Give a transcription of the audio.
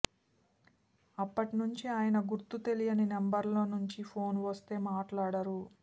అప్పటి నుంచీ ఆయన గుర్తు తెలియని నంబర్ల నుంచి ఫోన్ వస్తే మాట్లాడరు